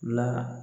La